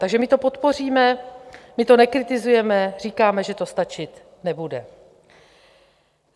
Takže my to podpoříme, my to nekritizujeme, říkáme, že to stačit nebude.